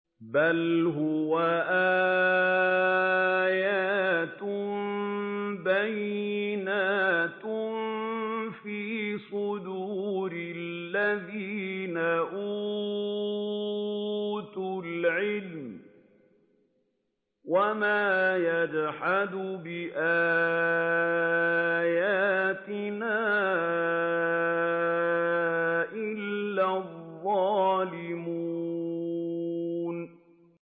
بَلْ هُوَ آيَاتٌ بَيِّنَاتٌ فِي صُدُورِ الَّذِينَ أُوتُوا الْعِلْمَ ۚ وَمَا يَجْحَدُ بِآيَاتِنَا إِلَّا الظَّالِمُونَ